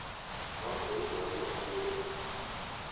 No ndĩraigua ruo mwĩrĩ